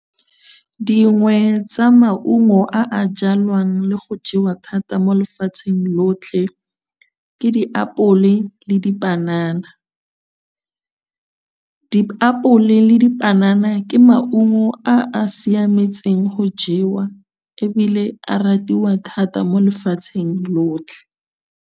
Dingwe tsa maungo a a jalwang le go jewa thata mo lefatsheng lotlhe ke diapole le dipanana. Diapole le dipanana ke maungo a a siametseng go jewa ebile a ratiwa thata mo lefatsheng lotlhe.